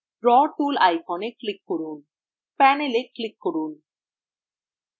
draw tool iconএ click করুন panel এ click করুন